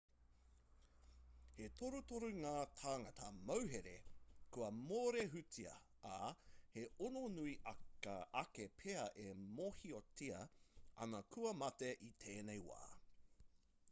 he torutoru ngā tāngata mauhere kua mōrehutia ā he ono nui ake pea e mōhiotia ana kua mate i tēnei wā